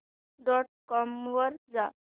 dot com वर जा